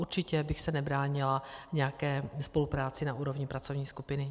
Určitě bych se nebránila nějaké spolupráci na úrovni pracovní skupiny.